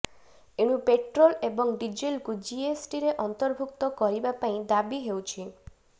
ଏଣୁ ପେଟ୍ରୋଲ ଏବଂ ଡିଜେଲକୁ ଜିଏସ୍ଟିରେ ଅନ୍ତର୍ଭୁକ୍ତ କରିବା ପାଇଁ ଦାବି ହେଉଛି